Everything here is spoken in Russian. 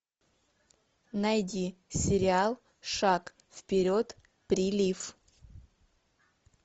найди сериал шаг вперед прилив